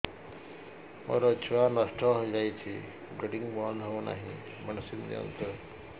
ମୋର ଛୁଆ ନଷ୍ଟ ହୋଇଯାଇଛି ବ୍ଲିଡ଼ିଙ୍ଗ ବନ୍ଦ ହଉନାହିଁ ମେଡିସିନ ଦିଅନ୍ତୁ